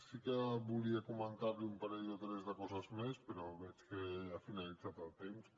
i sí que volia comentar li un parell o tres de coses més però veig que ja ha finalitzat el temps